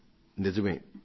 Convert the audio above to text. ఇది నిజమే